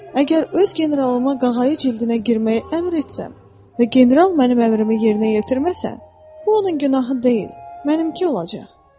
Əgər öz generalıma qağayı cildinə girməyi əmr etsəm və general mənim əmrimi yerinə yetirməsə, bu onun günahı deyil, mənimki olacaq.